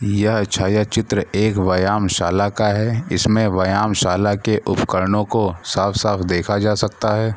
यह छाया चित्र एक व्यायाम शाला का है इसमें व्यायाम शाला के उपकरणों को साफ-साफ देखा जा सकता है।